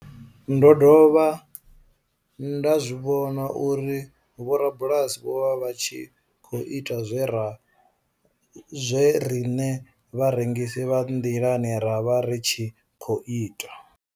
Ndo dovha nda zwi vhona uri vhorabulasi vho vha vha tshi khou ita zwe riṋe vharengisi vha nḓilani ra vha ri tshi khou ita.